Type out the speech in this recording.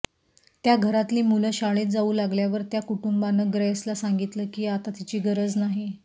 त्या घरातली मुलं शाळेत जाऊ लागल्यावर त्या कुटुंबानं ग्रेसला सांगितलं की आता तिची गरज नाही